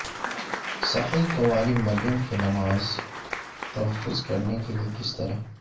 صحیح کنواری مریم کے نماز تلفظ کرنے کے لئے کس طرح